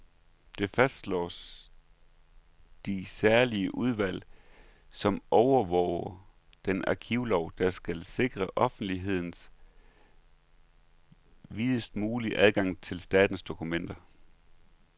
Det fastslår det særlige udvalg, som overvåger den arkivlov, der skal sikre offentligheden videst mulig adgang til statens dokumenter.